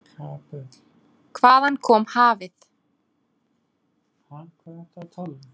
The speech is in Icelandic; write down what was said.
Hvaðan kom hafið?